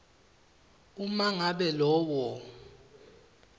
uma ngabe lowo